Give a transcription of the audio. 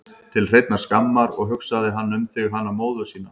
Til hreinnar skammar, og hugsaði hann um þig, hana móður sína?